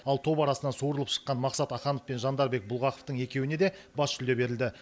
ал топ арасынан суырылып шыққан мақсат аханов пен жандарбек бұлғақовтың екеуіне де бас жүлде берілді